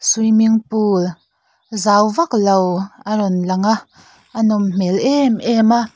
swimming pool zau vaklo a rawn langa a nawm hmel em em a.